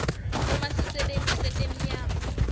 uma sisebenti setenyama